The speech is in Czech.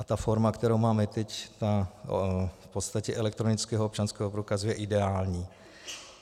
A ta forma, kterou máme teď, v podstatě elektronického občanského průkazu, je ideální.